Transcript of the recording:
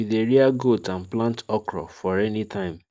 we dey rear goat and plant okro for rainy time